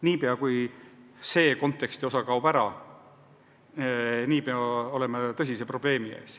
Niipea kui see kontekst ära kaob, oleme tõsise probleemi ees.